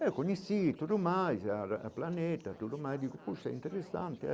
Eu conheci tudo mais a da Planeta, tudo mais digo poxa que interessante.